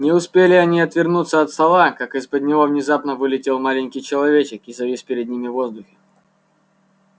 не успели они отвернуться от стола как из-под него внезапно вылетел маленький человечек и завис перед ними в воздухе